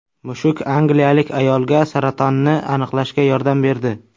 Mushuk angliyalik ayolga saratonni aniqlashga yordam berdi.